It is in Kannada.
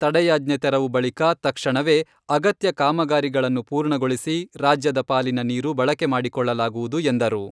ತಡೆಯಾಜ್ಞೆ ತೆರವು ಬಳಿಕ ತಕ್ಷಣವೇ ಅಗತ್ಯ ಕಾಮಗಾರಿಗಳನ್ನು ಪೂರ್ಣಗೊಳಿಸಿ ರಾಜ್ಯದ ಪಾಲಿನ ನೀರು ಬಳಕೆ ಮಾಡಿಕೊಳ್ಳಲಾಗುವುದು ಎಂದರು.